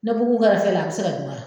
Ne bugu ka fɛ la a bɛ se ka dun wa.